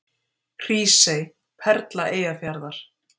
Hrísey: Perla Eyjafjarðar.